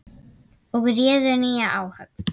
og réðu nýja áhöfn.